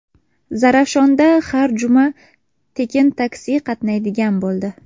Zarafshonda har juma tekin taksi qatnaydigan bo‘ldi.